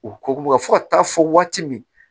U ko fo ka taa fɔ waati min